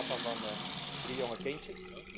Ik ben papa van drie jonge kindjes.